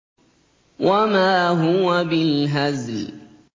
وَمَا هُوَ بِالْهَزْلِ